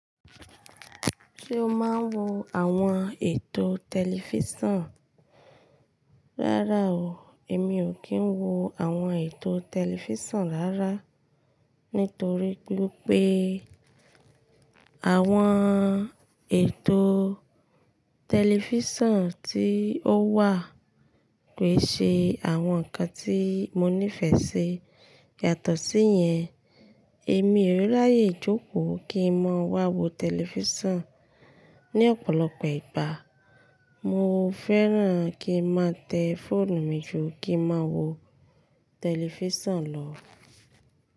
Ṣé o máa ń wo àwọn ètò tẹlifísàn? Rárá o, èmi ò kí ń wo àwọn ètò tẹlifísàn rárá. Nítorí pé àwọn ètò tẹlifísàn tí ó wà kò ṣe àwọn nǹkan tí mo nífẹ̀ẹ́ ṣi. Yàtọ̀ sí yẹn, èmi ò ráyè jókòó kí n má wá wo tẹlifísàn. Ni ọ̀pọ̀lọpọ̀ ìgbà mo fẹ́ràn kí n má tẹ fóònù mi jó kí n má wo tẹlifísàn lọ.